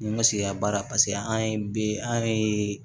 N ma sigi ka baara paseke an ye bi an ye